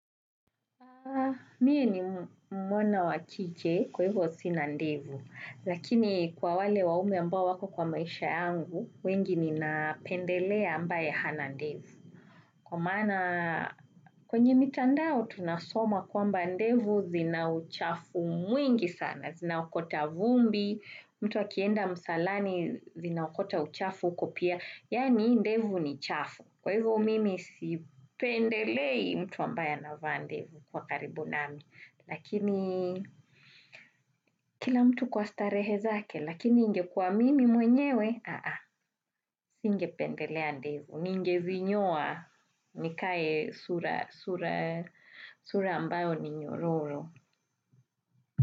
Mie ni mwana wa kike, kwa hivyo sina ndevu, lakini kwa wale waume ambao wako kwa maisha yangu, wengi ninapendelea ambaye hana ndevu. Kwa maana kwenye mitandao, tunasoma kwamba ndevu zina uchafu mwingi sana. Zina ukota vumbi, mtu akienda msalani zinaokota uchafu huko pia, yaani ndevu ni chafu. Kwa hivyo mimi, sipendelei mtu ambaye anavaa ndevu kuwa karibu nami. Lakini, kila mtu kwa starehe zake, lakini ingekuwa mimi mwenyewe, aa, singependelea ndivu, ningezinyoa, nikae sura ambayo ni nyororo.